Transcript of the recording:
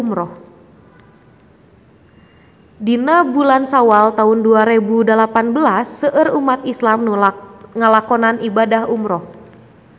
Dina bulan Sawal taun dua rebu dalapan belas seueur umat islam nu ngalakonan ibadah umrah